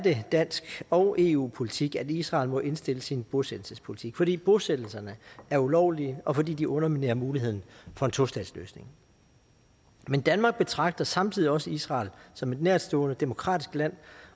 dansk og eu politik at israel må indstille sin bosættelsespolitik fordi bosættelserne er ulovlige og fordi de underminerer mulighederne for en tostatsløsning men danmark betragter samtidig også israel som et nærtstående demokratisk land